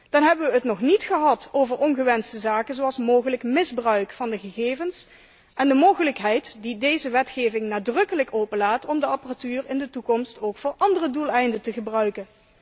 Dan hebben wij het nog niet gehad over ongewenste zaken zoals mogelijk misbruik van de gegevens en de mogelijkheid die deze wetgeving nadrukkelijk openlaat om de apparatuur in de toekomst ook voor andere doeleinden te gebruiken.